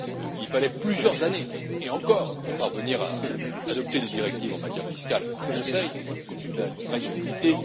Il fallait plusieurs années, et encore, pour parvenir à adopter des directives en matière fiscale au Conseil, compte tenu de la règle de l'unanimité.